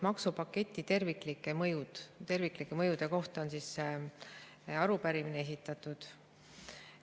Maksupaketi terviklike mõjude kohta on see arupärimine esitatud.